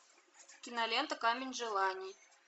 кинолента камень желаний